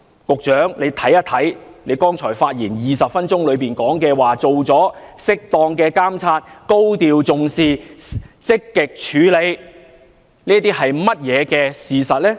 局長剛才在20分鐘的發言中表示已作出適當監察、高度重視、積極處理，但這是事實嗎？